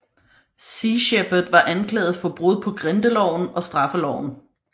Sea Shepherd var anklaget for brud på Grindeloven og Straffeloven